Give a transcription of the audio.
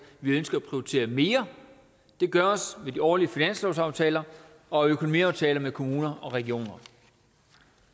vi ønsker at prioritere mere det gøres ved de årlige finanslovsaftaler og økonomiaftaler med kommuner og regioner